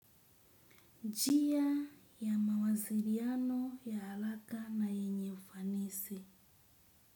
Njia ya mawasiriano ya haraka na yenye ufanisi.